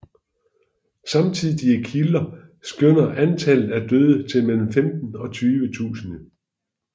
Samtidige kilder skønner antallet af døde til mellem femten og tyve tusinde